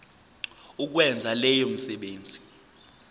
ukwenza leyo misebenzi